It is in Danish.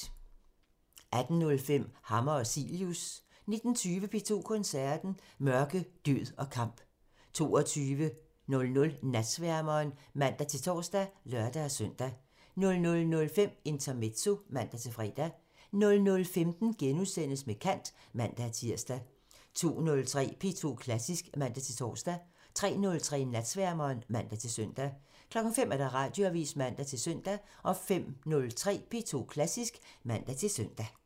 18:05: Hammer og Cilius (man) 19:20: P2 Koncerten – Mørke, død og kamp 22:00: Natsværmeren (man-tor og lør-søn) 00:05: Intermezzo (man-fre) 00:15: Med kant *(man-tir) 02:03: P2 Klassisk (man-tor) 03:03: Natsværmeren (man-søn) 05:00: Radioavisen (man-søn) 05:03: P2 Klassisk (man-søn)